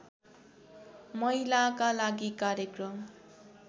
महिलाका लागि कार्यक्रम